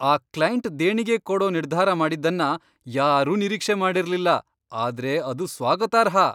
ಆ ಕ್ಲೈಂಟ್ ದೇಣಿಗೆ ಕೊಡೋ ನಿರ್ಧಾರ ಮಾಡಿದ್ದನ್ನ ಯಾರೂ ನಿರೀಕ್ಷೆ ಮಾಡಿರ್ಲಿಲ್ಲ, ಆದ್ರೆ ಅದು ಸ್ವಾಗತಾರ್ಹ!